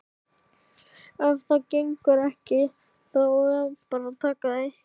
Ef það gengur ekki þá er bara að taka því.